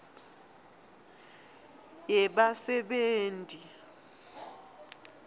yebasebenti